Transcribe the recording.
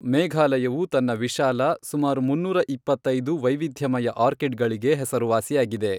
ಮೇಘಾಲಯವು ತನ್ನ ವಿಶಾಲ, ಸುಮಾರು ಮುನ್ನೂರ ಇಪ್ಪತ್ತೈದು , ವೈವಿಧ್ಯಮಯ ಆರ್ಕಿಡ್ಗಳಿಗೆ ಹೆಸರುವಾಸಿಯಾಗಿದೆ